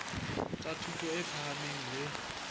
tsa thuto e phahameng le